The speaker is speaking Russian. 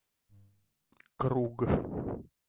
круг